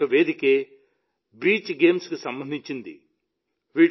అటువంటి ఒక వేదికే బీచ్ గేమ్స్ కు సంబంధించింది